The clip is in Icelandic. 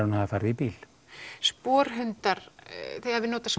hún hafi farið í bíl sporhundar þið hafið notað